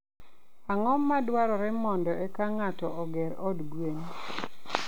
Ang'o madwarore mondo eka ng'ato oger od gwen?